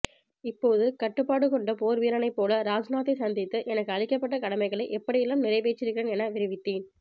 இப்போது கட்டுப்பாடு கொண்ட போர்வீரனைப் போல ராஜ்நாத்தை சந்தித்து எனக்கு அளிக்கப்பட்ட கடமைகளை எப்படியெல்லாம் நிறைவேற்றியிருக்கிறேன் என விவரித்தேன்